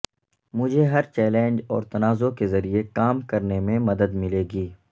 مجھے ہر چیلنج اور تنازعہ کے ذریعے کام کرنے میں مدد ملے گی